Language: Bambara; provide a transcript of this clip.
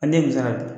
A ne kun tɛ ka